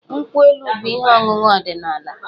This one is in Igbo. Nkwụ elu bụ ihe ọṅụṅụ ọdịnaala.